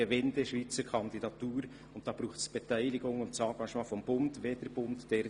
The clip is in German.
Weil es eine schweizerische Kandidatur ist, braucht es auch die Beteiligung und das Engagement des Bundes.